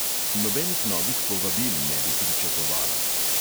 Nobenih novih povabil ne bi pričakovala.